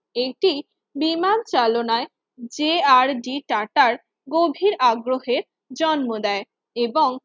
এটি বিমান চালনায় যে আর ডি টাটার গভীর আগ্রহের জন্ম দেয় এবং